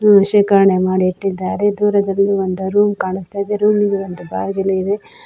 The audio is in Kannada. ಇವನು ಶೇಕರಣೆ ಮಾಡಿ ಇಟ್ಟಿದ್ದಾರೆ ದೂರದಲ್ಲಿ ಒಂದು ರೂಮ್ ಕಾಣಸ್ತಾ ಇದೆ ರೂಮ್ ಗೆ ಒಂದು ಬಾಗಿಲು ಇದೆ.